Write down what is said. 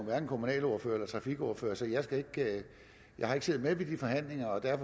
hverken kommunalordfører eller trafikordfører så jeg har ikke siddet med i de forhandlinger og det